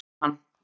Svo bíður hann.